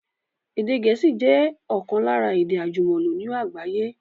Èdè Gẹ̀ẹ́sì jẹ ọ̀kan lára èdè àjùmọ̀lò ní àgbáyé